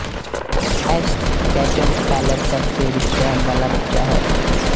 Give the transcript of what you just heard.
ਐਸ਼ Ketchum Pallet ਕਸਬੇ ਵਿੱਚ ਰਹਿਣ ਵਾਲਾ ਬੱਚਾ ਹੈ